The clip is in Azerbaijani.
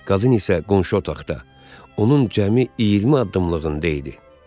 Qazın isə qonşu otaqda onun cəmi 20 addımlığında idi.